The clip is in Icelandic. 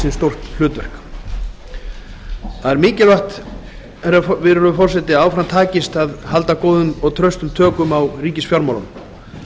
ríkisins stórt hlutverk það er mikilvægt virðulegur forseti að áfram takist að halda góðum og traustum tökum á ríkisfjármálum